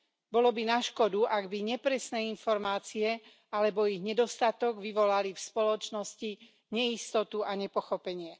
Bolo by na škodu, ak by nepresné informácie alebo ich nedostatok vyvolali v spoločnosti neistotu a nepochopenie.